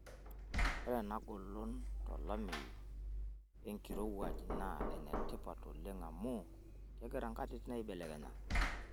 Ore ena golon tolameyu, wenkirowuaj naa enetipat oleng' amuu kegira nkatitin aibelekenya.